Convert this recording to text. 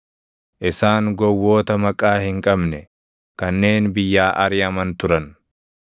Isaan gowwoota maqaa hin qabne, kanneen biyyaa ariʼaman turan.